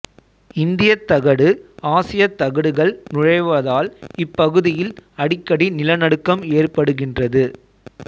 இந்தியத் தகடு ஆசியத் தகடுகள் நுழைவதால் இப் பகுதியில் அடிக்கடி நில நடுக்கம் ஏற்படுகின்றது